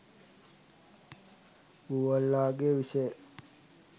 බූවල්ලාගේ විෂ